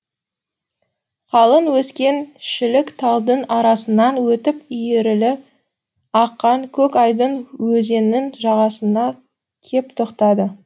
қалың өскен шілік талдың арасынан өтіп иіріле аққан көк айдын өзеннің жағасына кеп тоқтады